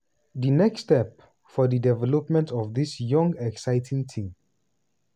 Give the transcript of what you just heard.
di next step for di development of dis young exciting team.